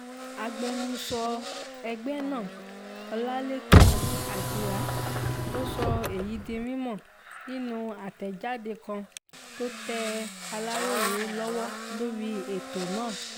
agbẹnusọ ẹgbẹ́ náà ọlálẹ́kan àjíá ló sọ èyí di mímọ́ nínú àtẹ̀jáde kan tó tẹ aláròye lọ́wọ́ lórí ètò náà